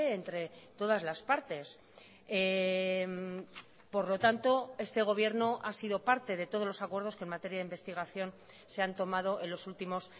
entre todas las partes por lo tanto este gobierno ha sido parte de todos los acuerdos que en materia de investigación se han tomado en los últimos